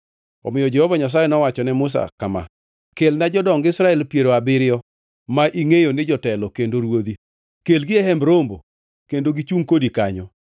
Omiyo Jehova Nyasaye nowacho ne Musa kama: “Kelna jodong Israel piero abiriyo ma ingʼeyo ni jotelo kendo ruodhi. Kelgi e Hemb Romo kendo gichungʼ kodi kanyo.